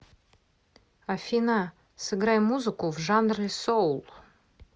афина сыграй музыку в жанре соул